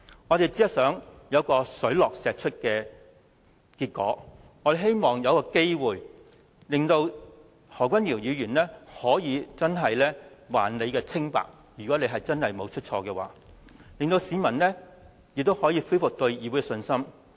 我們只是想有水落石出的結果，如果何君堯議員真的沒有做錯，我們希望有機會還他清白，令市民可以恢復對議會的信心。